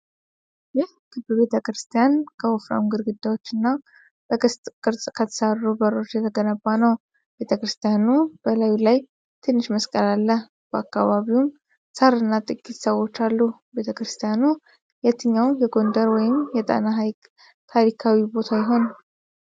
ይህ ክብ ቤተ ክርስቲያን ከወፍራም ግድግዳዎችና በቅስት ቅርጽ በተሰሩ በሮች የተገነባ ነው። ቤተ ክርስቲያኑ በላዩ ላይ ትንሽ መስቀል አለ፣ በአካባቢውም ሳር እና ጥቂት ሰዎች አሉ። ቤተ ክርስቲያኑ የትኛው የጎንደር ወይም የጣና ሃይቅ ታሪካዊ ቦታ ይሆን?